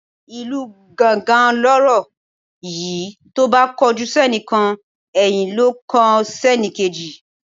Ìlu gángan lọ̀rọ̀ yi tóbá kojú sénìkan ẹ̀yìn ló n kọ sẹ́nìkejì